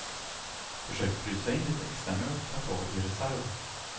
Försök frysa in lite extramjölk att ha i reserv.